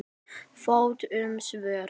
Fátt um svör.